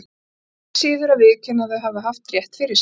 Enn síður að viðurkenna að það hafi haft rétt fyrir sér.